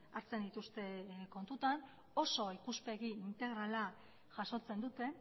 hartzen dituzte kontutan oso ikuspegi integrala jasotzen dute